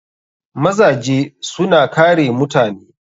Mazaje suna kare mutane.